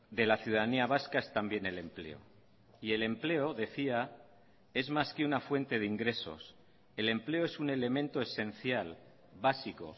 de la ciudadanía vasca es también el empleo y el empleo decía es más que una fuente de ingresos el empleo es un elemento esencial básico